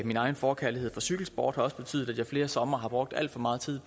min egen forkærlighed for cykelsport har også betydet at jeg flere somre har brugt alt for meget tid